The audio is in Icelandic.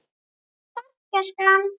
Góða ferð, gæskan!